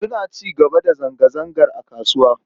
Suna ci gaba da zanga-zangar a kasuwar.